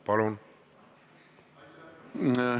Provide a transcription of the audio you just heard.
Palun!